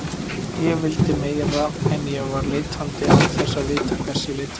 Ég vildi meira, en ég var leitandi án þess að vita hvers ég leitaði.